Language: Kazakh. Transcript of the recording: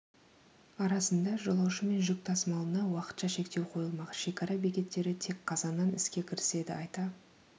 арасында жолаушы мен жүк тасымалына уақытша шектеу қойылмақ шекара бекеттері тек қазаннан іске кіріседі айта